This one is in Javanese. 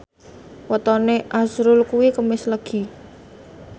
wetone azrul kuwi Kemis Legi